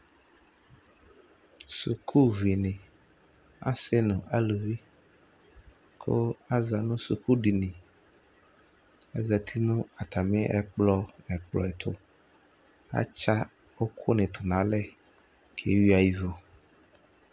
Sukuvi ni Asi nu aluviKʋ aza nʋ sukudiniAzati natami ɛkplɔ nɛkplɔɛtuAtsa uku ni tunalɛ kewuia ivu